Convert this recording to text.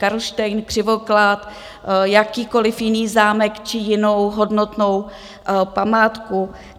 Karlštejn, Křivoklát, jakýkoliv jiný zámek či jinou hodnotnou památku?